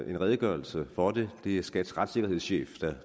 en redegørelse for det det er skats retssikkerhedschef